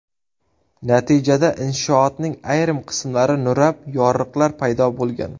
Natijada inshootning ayrim qismlari nurab, yoriqlar paydo bo‘lgan.